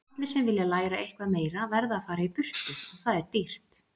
Allir sem vilja læra eitthvað meira verða að fara í burtu og það er dýrt